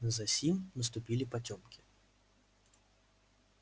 засим наступили потёмки